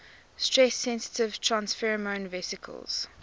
stress sensitive transfersome vesicles